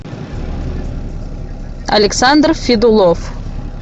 александр федулов